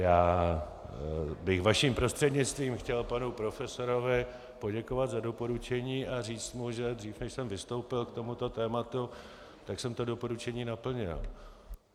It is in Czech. Já bych vaším prostřednictvím chtěl panu profesorovi poděkovat za doporučení a říct mu, že dřív než jsem vystoupil k tomuto tématu, tak jsem ta doporučení naplnil.